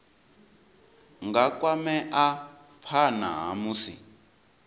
nga kwamea phana ha musi